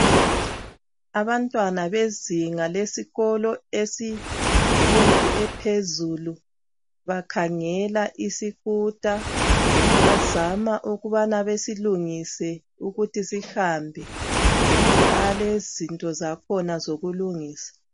Abantwana bezinga lesikolo semfundo ephezulu bakhangela isikuta bazama ukubana bayilungise ukuthi sihambe balezinto zakhona zokulungisa